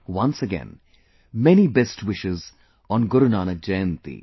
Once again, many best wishes on Guru Nanak Jayanti